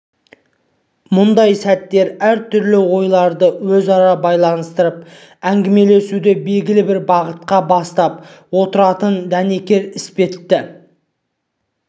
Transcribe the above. мұндай сәттер әр түрлі ойларды өзара байланыстырып әңгімелесуді белгілі бір бағытқа бастап отыратын дәнекер іспетті